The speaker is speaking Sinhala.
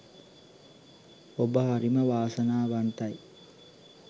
ඔබ හරිම වාසනාවන්තයි